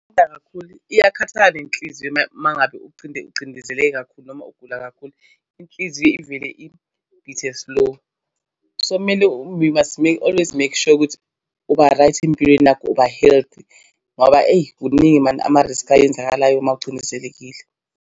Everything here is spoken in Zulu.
Ngithanda kakhulu, iyakhathaza nenhliziyo uma ngabe ucindezele kakhulu noma ugula kakhulu. Inhliziyo ivele ibhithe slow. So kumele we must make always make sure ukuthi uba-right empilweni yakho uba-healthy ngoba eyi kuningi mani amariskhi ayenzakalayo uma ucindezelekile.